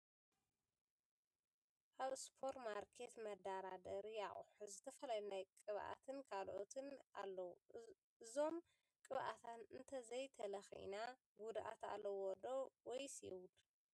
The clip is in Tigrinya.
ኣብ ሱፐር ማርኬት መደርደሪ ኣቁሑት ዝተፈላለዩ ናይ ቅብኣትን ካልኦትን ኣለዉ እዞም ቅብኣታት እንተዘይ ተለኪና ጉድኣት ኣለዎዶ ? ወይስ የብሉን ?